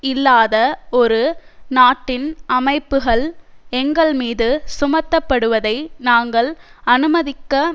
இல்லாத ஒரு நாட்டின் அமைப்புகள் எங்கள் மீது சுமத்தப்படுவதை நாங்கள் அனுமதிக்க